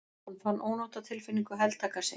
Hann fann ónotatilfinningu heltaka sig.